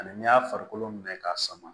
Ani n'i y'a farikolo minɛ k'a sama